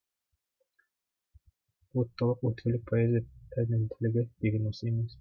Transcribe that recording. уыттылық өткірлік поэзия пәрменділігі деген осы емес пе